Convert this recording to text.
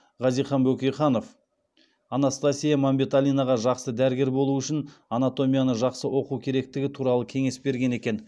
хазихан бөкейханов анастасия мәмбеталинаға жақсы дәрігер болу үшін анатомияны жақсы оқу керектігі туралы кеңес берген екен